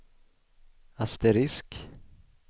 asterisk